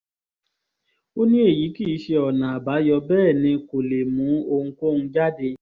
ó ní èyí kì í ṣe ọ̀nà àbáyọ bẹ́ẹ̀ ni kò lè mú ohunkóhun jáde